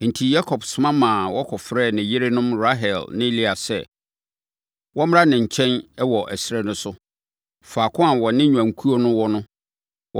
Enti, Yakob soma ma wɔkɔfrɛɛ ne yerenom Rahel ne Lea sɛ, wɔmmra ne nkyɛn wɔ ɛserɛ no so, faako a ɔne ne nnwankuo no wɔ no.